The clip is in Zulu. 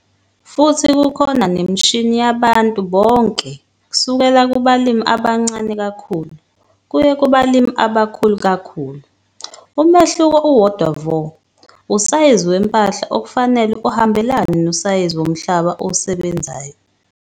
Futhi kukhona nemishini yabantu bonke - kusukela kubalimi abancane kakhulu kuye kubalimi abakhulu kakhulu. Umehluko uwodwa vo usayizi wempahla okufanele uhambelane nosayizi womhlaba owusebenzayo.